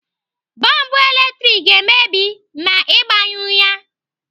Bọlbụ latrik ga-emebi ma Ị gbanyụghị ya.